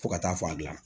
Fo ka taa fɔ a gilanna